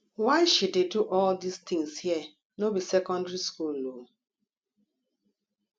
why she dey do all dis things here no be secondary school ooo